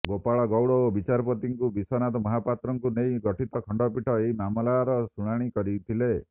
ଗୋପାଳ ଗୌଡ ଓ ବିଚାରପତି ବିଶ୍ୱନାଥ ମହାପାତ୍ରଙ୍କୁ ନେଇ ଗଠିତ ଖଣ୍ଡପୀଠ ଏହି ମାମଲାର ଶୁଣାଣି କରିଥିଲେ